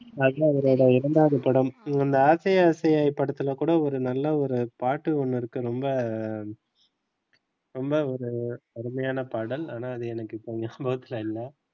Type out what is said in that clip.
அதுதான் அவரோட இரண்டாவது படம் இந்த ஆசை ஆசையாய் படத்துல கூட ஒரு நல்ல ஒரு பாட்டு ஒன்னு இருக்கு ரொம்ப ரொம்ப ஒரு அருமையான பாடல் ஆனா இப்ப எனக்கு ஞாபகத்துல இல்ல.